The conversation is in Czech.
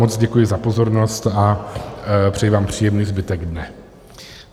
Moc děkuji za pozornost a přeji vám příjemný zbytek dne.